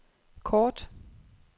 kort